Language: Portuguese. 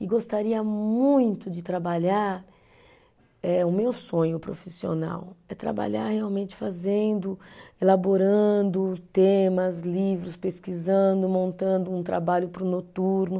E gostaria muito de trabalhar, eh o meu sonho profissional é trabalhar realmente fazendo, elaborando temas, livros, pesquisando, montando um trabalho para o noturno.